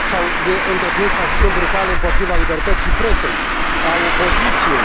S au întreprins acțiuni brutale împotriva libertății presei, a opoziției.